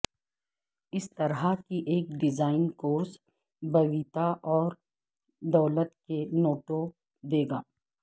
اس طرح کی ایک ڈیزائن کورس بویتا اور دولت کے نوٹوں دے گا